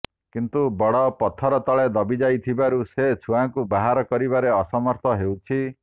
କିନ୍ତୁ ବଡ଼ ପଥର ତଳେ ଦବିଯାଇଥିବାରୁ ସେ ଛୁଆକୁ ବାହାର କରିବାରେ ଅସମର୍ଥ ହେଉଛି